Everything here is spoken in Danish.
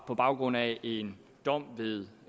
på baggrund af en dom ved